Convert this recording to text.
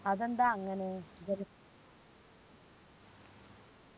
അതെന്താ അങ്ങനെ? ജല